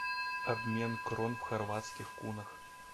обмен крон в хорватских кунах